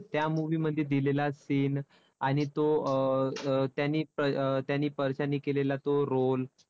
त्या movie मध्ये दिलेला scene आणि तो अं त्याने अं परशाने केलेला तो role